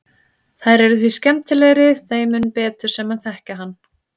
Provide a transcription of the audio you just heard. Þær eru því skemmtilegri þeim mun betur sem menn þekkja hann.